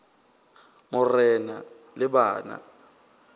mo re na le bana